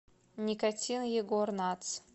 никотин егор натс